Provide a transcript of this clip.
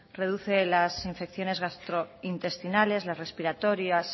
reduce las infecciones gastrointestinales las respiratorias